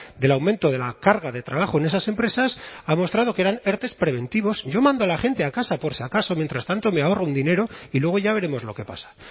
del aumento de la carga de trabajo en esas empresas ha mostrado que eran ertes preventivos yo mando a la gente a casa por si acaso mientras tanto me ahorro un dinero y luego ya veremos lo que pasa